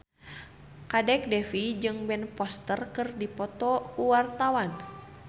Kadek Devi jeung Ben Foster keur dipoto ku wartawan